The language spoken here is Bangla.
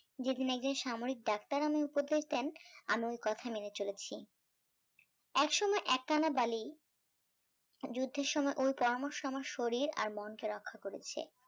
যেদিন একদিন একজন সাময়িক ডাক্তার আমায় উপদেশ দেন আমি ওই কথা মেনে চলেছি এক সময় এক কণা বালি যোদ্ধের সময় ওই পরামর্শ আমার শরীর আর মনকে রক্ষা করেছে